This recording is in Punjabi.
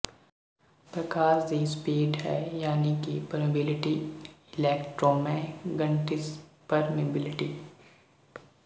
ਪ੍ਰਕਾਸ਼ ਦੀ ਸਪੀਡ ਹੈ ਯਾਨਿ ਕਿ ਪਰਮਿਬਲਿਟੀ ਇਲੈਕਟ੍ਰੋਮੈਗਨਟਿਜ਼ਮਪਰਮਿਬਲਿਟੀ